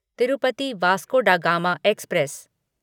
Tirupati Vasco da Gama express